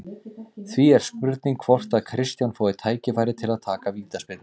Því er spurning hvort að Kristján fái tækifæri til að taka vítaspyrnu?